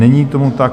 Není tomu tak.